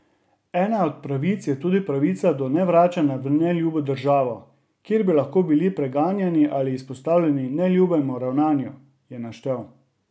Ena od pravic je tudi pravica do nevračanja v neljubo državo, kjer bi lahko bili preganjani ali izpostavljeni neljubemu ravnanju, je naštel.